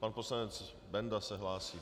Pan poslanec Benda se hlásí.